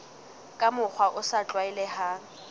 ka mokgwa o sa tlwaelehang